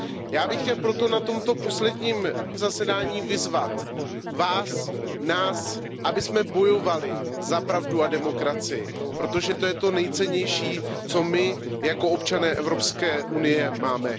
Já bych chtěl proto na tomto našem posledním zasedání vyzvat vás, nás, abychom bojovali za pravdu a demokracii, protože to je to nejcennější, co my jako občané Evropské unie máme.